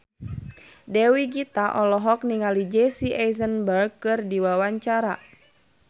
Dewi Gita olohok ningali Jesse Eisenberg keur diwawancara